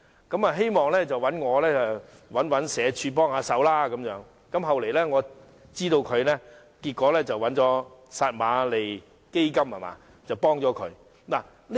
他希望我替他找社會福利署幫忙，我後來得知他最終得到撒瑪利亞基金的幫助。